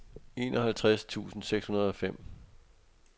enoghalvtreds tusind seks hundrede og fem